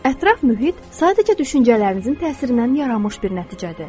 Ətraf mühit sadəcə düşüncələrinizin təsirindən yaranmış bir nəticədir.